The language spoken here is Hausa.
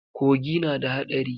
Kogi na da haɗari.